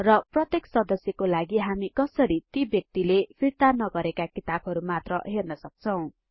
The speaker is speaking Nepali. र प्रत्येक सदस्यको लागि हामी कसरी ती व्यक्तिले फिर्ता नगरेका किताबहरु मात्र हेर्न सक्छौं